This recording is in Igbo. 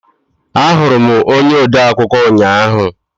Ahụrụ m onye odeakwụkwọ ụnyaahụ.